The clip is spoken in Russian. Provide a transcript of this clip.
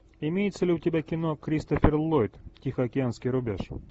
имеется ли у тебя кино кристофер ллойд тихоокеанский рубеж